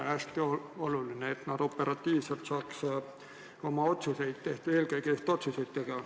On hästi oluline, et nad saaks operatiivselt oma otsused tehtud.